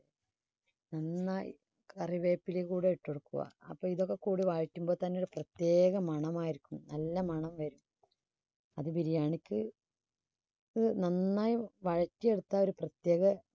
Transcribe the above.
നന്നായി കറിവേപ്പില കൂടെ ഇട്ടുകൊടുക്കുക. അപ്പൊ ഇതൊക്കെ കൂടി വഴറ്റുമ്പോൾ തന്നെ ഒരു പ്രത്യേക മണമായിരിക്കും നല്ല മണം വരും. അത് biriyani ിക്ക് നന്നായി വഴറ്റി എടുത്താൽ ഒരു പ്രത്യേക